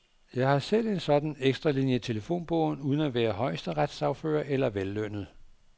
Jeg har selv en sådan ekstralinie i telefonbogen uden at være højesteretssagfører eller vellønnet.